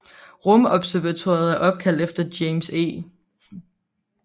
Rumobservatoriet er opkaldt efter James E